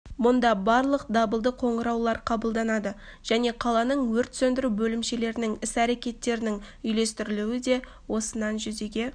мұнда барлық дабылды қоңыраулар қабылданады және қаланың өрт сөндіру бөлімшелерінің іс-әрекеттерінің үйлестірілуі де осыннан жүзеге